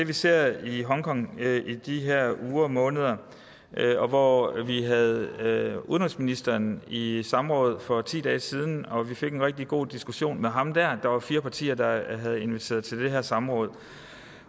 vi ser i hongkong i de her uger og måneder og hvor vi havde havde udenrigsministeren i i samråd for ti dage siden og vi der fik en rigtig god diskussion med ham der var fire partier der havde inviteret til det her samråd